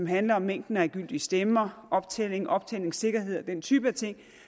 handler om mængden af gyldige stemmer optælling optællingssikkerhed og den type af ting